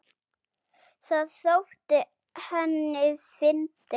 Það þótti henni fyndið.